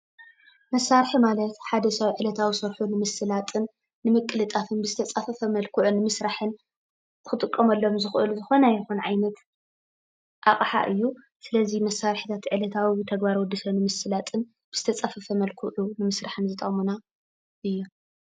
መሳርሒ ማለት ሐደ ሰብ ዕለታዊ ስርሑ ንምስላጥን ንምቅልጣፍን ብዝተፀፈፈ መልክዑ ንምስራሕን ክጥቀመሎም ዝክእሉ ዝኾነ ይኹን ዓይነት አቕሓ እዩ። ስለዚ መሳርሕታት ዕለታዊ ተግባር ወድ ሰብ ንምስላጥን ብዝተፀፈፈ መልክዑ ንምስራሕን ዝጠቕሙና እዩ።